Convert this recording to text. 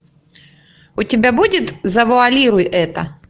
у тебя будет завуалируй это